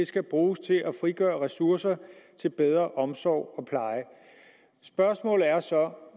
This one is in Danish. skal bruges til at frigøre ressourcer til bedre omsorg og pleje spørgsmålet er